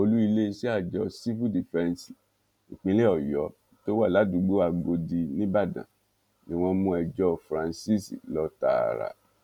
olùiléeṣẹ àjọ sífù dífẹǹsì ìpínlẹ ọyọ tó wà ládùúgbò agòdì nìbàdàn ni wọn mú ẹjọ francis lọ tààrà